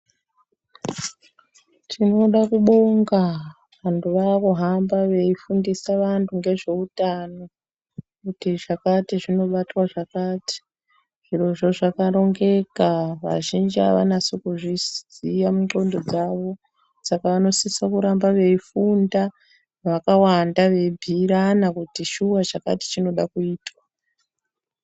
Tinoda kubonga vantu vakuhamba veifundisa antu ngezveutano. Kuti zvakati zvinobatwa zvakati zvirozvo zvakarongeka vazhinji havanyasi kuzviziya mundxondo dzavo. Saka vanosisa kutamba veifunda vakawanda veibhuirana kuti shuva chakati chinoda kuitwa.